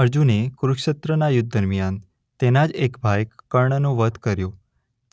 અર્જુને કુરુક્ષેત્રના યુદ્ધ દરમ્યાન તેના જ એક ભાઈ કર્ણનો વધ કર્યો